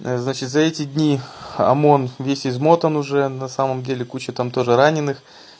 значит за эти дни омон весь измотан уже на самом деле куча там тоже раненых